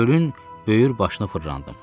Gölün böyür başını fırlandım.